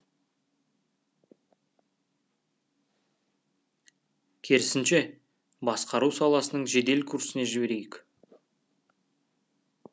керісінше басқару саласының жедел курсіне жіберейік